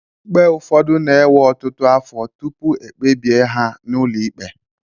ikpe ụfọdụ na-ewe ọtụtụ afọ tupu ekpebie ha n'ụlọ ikpe